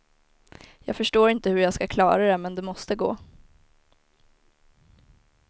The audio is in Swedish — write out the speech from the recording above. Jag förstår inte hur jag ska klara det, men det måste gå.